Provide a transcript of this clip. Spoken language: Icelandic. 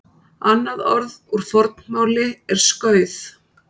Annað orð úr fornmáli er skauð.